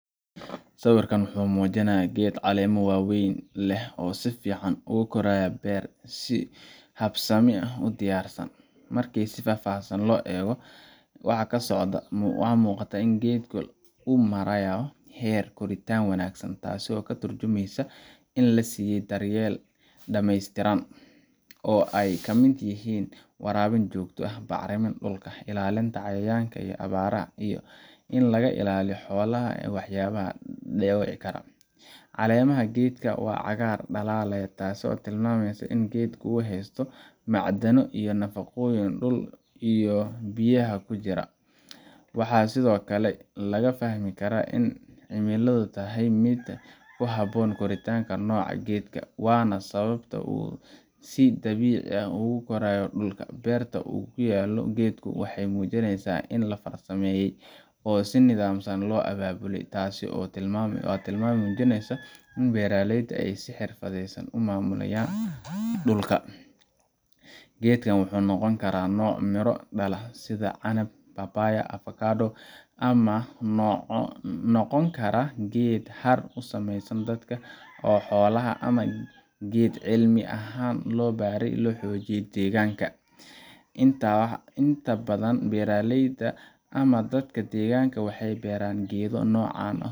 Sawirkan waxa uu muujinayaa geed caleemo waaweyn leh oo si fiican ugu koraya beer si habaysan u diyaarsan. Marka si faahfaahsan loo eego waxa ka socda, waxaa muuqata in geedka uu marayo heer koritaan wanaagsan taasoo ka tarjumaysa in la siiyey daryeel dhammaystiran oo ay ka mid yihiin waraabin joogto ah, bacriminta dhulka, ilaalinta cayayaanka iyo abaaraha, iyo in laga ilaaliyo xoolaha ama waxyaabaha dhaawici kara. Caleemaha geedka waa cagaar dhalaalaya, taasoo tilmaamaysa in geedku uu heysto macdano iyo nafaqooyin dhulka iyo biyaha ku jira. Waxaa sidoo kale laga fahmi karaa in cimiladu tahay mid ku habboon koritaanka nooca geedkan, waana sababta uu si dabiici ah ugu koraayo dhulka. Beerta uu ku yaallo geedku waxay muujinaysaa in la farsameeyey oo si nidaamsan loo abaabulay taasi waa tilmaam muujinaysa in beeraleyda ay si xirfadaysan u maamulayaan dhulka. Geedkan waxa uu noqon karaa nooc miro dhala sida canab, papaya, ama avocado, ama waxa uu noqon karaa geed hadh u sameeya dadka iyo xoolaha, ama geed cilmi ahaan loo beeray si loo xoojiyo deegaanka. Inta badan beeraleyda ama dadka deegaanka waxay beeraan geedo noocan ah